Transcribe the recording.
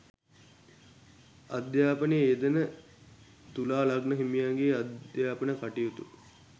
අධ්‍යාපනයේ යෙදෙන තුලා ලග්න හිමියන්ගේ අධ්‍යාපන කටයුතු